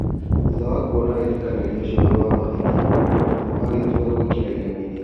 Thutha wa kuona wĩ tĩ kanĩ rio ũcio wĩ na mahĩ tia, Thuo agĩ tua gwĩ kĩ ra iremithia.